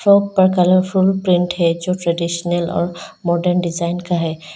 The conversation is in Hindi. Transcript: फ्रॉक का कलरफूल प्रिन्ट है जो ट्रेडिशनल और मॉडर्न डिजाइन का है।